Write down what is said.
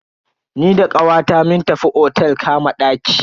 Ni da kawata mun tafi otel kama ɗaki.